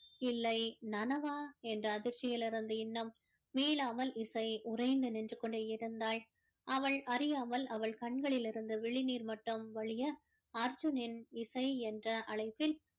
இல்லை நினைவா என்ற அதிர்ச்சியில் இருந்து இன்னும் மீளாமல் இசை உறைந்து நின்று கொண்டு இருந்தாள் அவள் அறியாமல் அவள் கண்களில் இருந்து விழி நீர் மட்டும் வழிய அர்ஜுனின் இசை என்ற அழைப்பில்